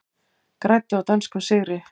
Græddu á dönskum sigri